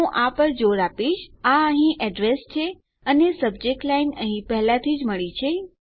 હું આ પર જોર આપીશ આ અહીં એડ્રેસ છે અને સબ્જેક્ટ લાઈનઅહીં પહેલાથી જ મળી છે